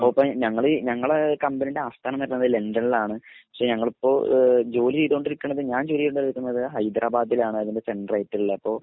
ഞങ്ങളെ ഞങ്ങളെ കമ്പനിടെ ആസ്ഥാനം വരുന്നത് ലണ്ടനിൽ ആണ് പക്ഷെ ഞങ്ങളിപ്പോ ജോലി ചെയ്തോണ്ടിരിക്കുന്നത് ഞാൻ ജോലി ചെയ്തോണ്ടിരിക്കുന്നത് ഹൈദരാബാദിൽ ആണ് അതിൻ്റെ സെൻട്രായിട്ടുള്ള അപ്പൊ